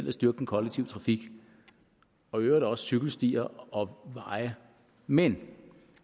at styrke den kollektive trafik og i øvrigt også cykelstier og veje men